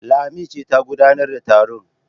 Lami ce ta gudanar da taron.